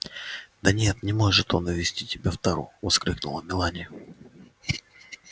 да нет не может он увезти тебя в тару воскликнула мелани